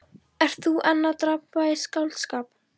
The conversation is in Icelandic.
Ert þú enn að drabba í skáldskap?